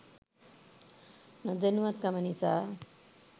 නොදැනුවත් කම නිසා